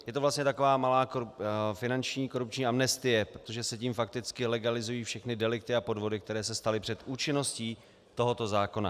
Je to vlastně taková malá finanční korupční amnestie, protože se tím fakticky legalizují všechny delikty a podvody, které se staly před účinností tohoto zákona.